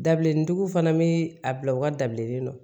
Dabilennin tigiw fana bi a bila u ka dabileni nɔ